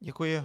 Děkuji.